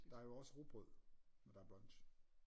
Der er jo også rugbrød når der er brunch